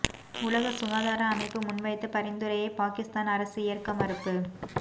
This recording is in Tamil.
உலக சுகாதார அமைப்பு முன்வைத்த பரிந்துரையை பாகிஸ்தான் அரசு ஏற்க மறுப்பு